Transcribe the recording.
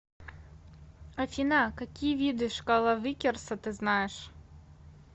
афина какие виды шкала виккерса ты знаешь